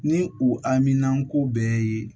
Ni u haminanko bɛɛ ye